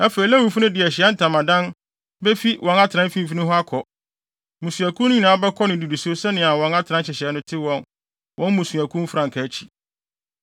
Afei Lewifo no de Ahyiae Ntamadan befi wɔn atenae mfimfini hɔ akɔ. Mmusuakuw no nyinaa bɛkɔ no nnidiso sɛnea wɔn atenae nhyehyɛe te wɔ wɔn mmusuakuw mfrankaa akyi.